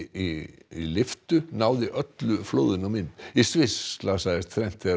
í lyftu náði öllu flóðinu á mynd í Sviss særðist þrennt þegar